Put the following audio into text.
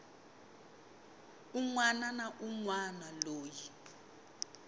wana na un wana loyi